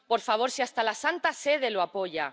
Por favor, ¡si hasta la Santa Sede lo apoya!